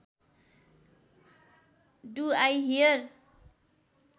do I here